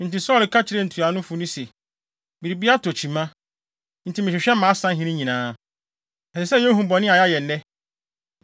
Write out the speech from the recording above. Enti Saulo ka kyerɛɛ ntuanofo no se, “Biribi atɔ kyima, enti mehwehwɛ mʼasahene nyinaa. Ɛsɛ sɛ yehu bɔne a yɛayɛ nnɛ.